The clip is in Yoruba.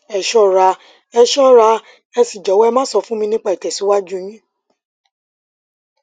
ẹ ṣọra ẹ ṣọra ẹ sì jọwọ ẹ máa sọ fún mi nípa ìtẹsíwájú yín